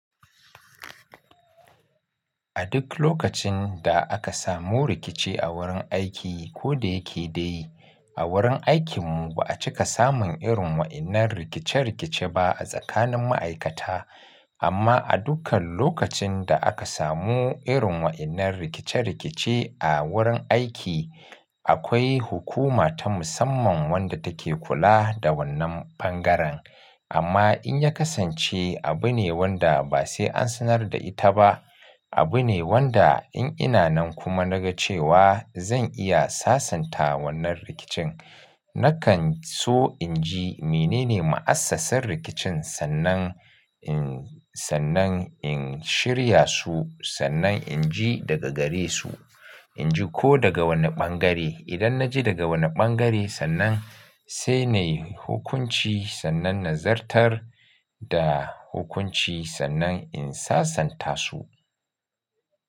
A duk lokacin da aka samu rikici a wurin aiki ko da yake dai a wurin aikinmu ba a cika samun irin wa'innar rikice-rikice ba a tsakanin ma'aikata. Amma a dukkan lokacin da aka samu irin wa'innar rikice-rikice a wurin aiki, akwai hukuma ta musamman wadda take kula da wannan bangaren. Amma in ya kasance abu ne wanda ba sai an sanar da ita ba, abu ne wanda in ina nan kuma na ga cewa zan iya sasanta wannan rikicin, nakan so in ji menene ma'assasar rikicin sannan in, sannan in shirya su, sannan in ji daga gare su. In ji ko daga wanne bangare. Idan na ji daga wanne bangare sannan sai na yi hukunci sannan na zartar da hukunci sannan in sasanta su.